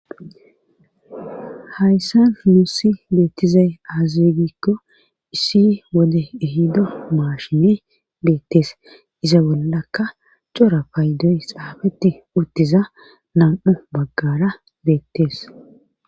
hayssan nussi beettizay aaza gikko issi wode ehido maashine beettees iza bollakka cora paydoy xaafeti utiza nam'u baggara beettees